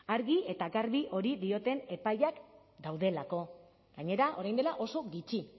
argi eta garbi hori dioten epaileak daudelako gainera orain dela oso gitxi